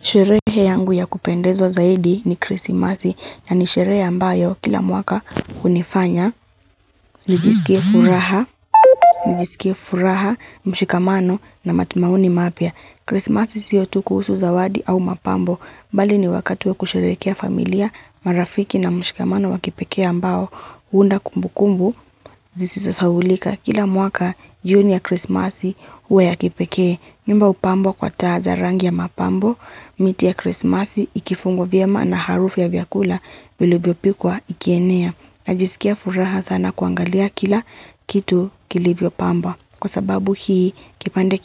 Sherehe yangu ya kupendezo zaidi ni krisimasi ya ni sherehe ambayo kila mwaka kunifanya. Nijisikie furaha, nijisikie furaha, mshikamano na matumauni mapya. Krisimasi siyo tu kuhusu zawadi au mapambo. Mbali ni wakati wa kusherekea familia, marafiki na mshikamano wakipekea ambayo. Uunda kumbu kumbu, zisisasaulika. Kila mwaka, jioni ya krisimasi uwe ya kipekee. Mimba upambo kwa taa za rangi ya mapambo, miti ya krismasi, ikifungo vya maana harufu ya vyakula, vili vyopikwa ikienea. Najisikia furaha sana kuangalia kila kitu kilivyo pamba. Kwa sababu hii, kipande